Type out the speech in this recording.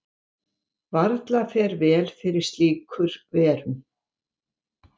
Varla fer vel fyrir slíkur verum.